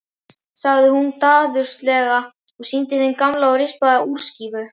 sagði hún daðurslega og sýndi þeim gamla og rispaða úrskífu.